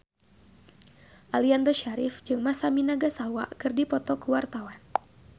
Aliando Syarif jeung Masami Nagasawa keur dipoto ku wartawan